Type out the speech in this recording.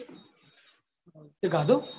તે ખાધું?